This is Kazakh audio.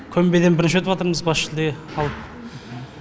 көмбеден бірінші өтіватырмыз бас жүлде алып